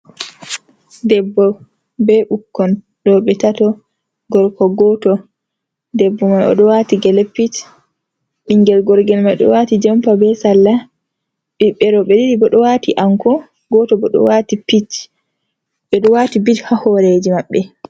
Debbo be ɓikkon roɓe tato gorko goto debbo man oɗo wati gele pitch ɓingel gorgel ma oɗo waati jompa be salla ɓiɓɓe roɓe ɗiɗi bo ɗo wati anko goto bo ɗo wati pink ɓeɗo wati bit ha horeji maɓɓe.